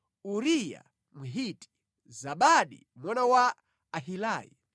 Uriya Mhiti, Zabadi mwana wa Ahilai,